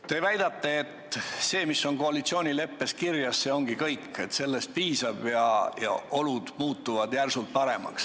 Te väidate, et see, mis on koalitsioonileppes kirjas, see ongi kõik, et sellest piisab ja olud muutuvad järsult paremaks.